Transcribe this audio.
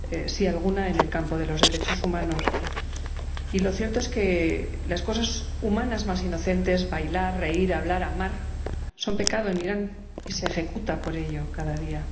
Sí, alguna, en el campo de los derechos humanos, y lo cierto es que las cosas humanas más inocentes bailar, reír, hablar, amar son pecado en Irán y se ejecuta por ello cada día.